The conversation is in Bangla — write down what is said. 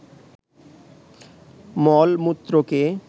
মল-মূত্রকে